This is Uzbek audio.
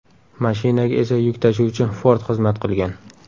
Mashinaga esa yuk tashuvchi Ford xizmat qilgan.